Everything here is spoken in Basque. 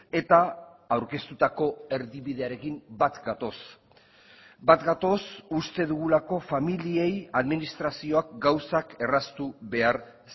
eta aurkeztutako erdibidearekin bat gatoz bat gatoz uste dugulako familiei administrazioak gauzak erraztu behar